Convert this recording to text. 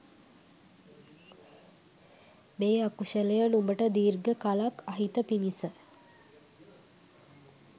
මේ අකුශලය නුඹට දීර්ඝ කලක් අහිත පිණිස